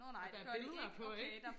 og der er billeder på ikke